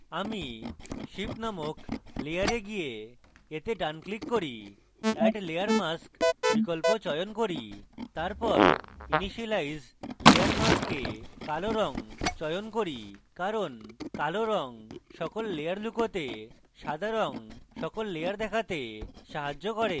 আমি ship named layer গিয়ে এতে ডান click করি এবং add layer mask বিকল্প চয়ন করি তারপর initialize layer mask এ কালো রঙ চয়ন করি কারণ কালো রঙ সকল layer লুকোতে এবং সাদা রঙ সকল layer দেখাতে সাহায্য করে